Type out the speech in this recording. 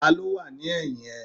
Ta ló wà ní ẹ̀yìn ẹ?